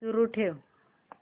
सुरू ठेव